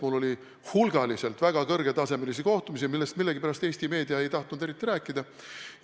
Mul oli seal hulgaliselt väga kõrgetasemelisi kohtumisi, millest millegipärast Eesti meedia ei ole tahtnud eriti rääkida.